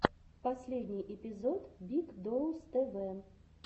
последний эпизод биг доус тэ вэ